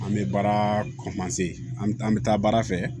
An bɛ baara an bɛ taa baara fɛ